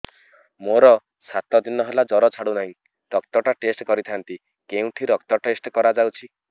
ମୋରୋ ସାତ ଦିନ ହେଲା ଜ୍ଵର ଛାଡୁନାହିଁ ରକ୍ତ ଟା ଟେଷ୍ଟ କରିଥାନ୍ତି କେଉଁଠି ରକ୍ତ ଟେଷ୍ଟ କରା ଯାଉଛି